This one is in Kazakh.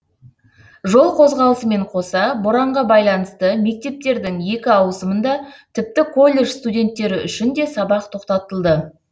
жол қозғалысымен қоса боранға байланысты мектептердің екі ауысымында тіпті колледж студенттері үшін де сабақ тоқтатылды